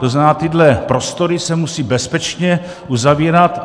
To znamená, tyhle prostory se musejí bezpečně uzavírat.